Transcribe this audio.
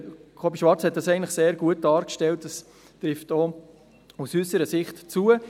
Kobi Schwarz hat das eigentlich sehr gut dargestellt, und es trifft auch aus unserer Sicht zu.